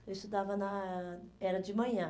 Eu estudava na ãh... era de manhã.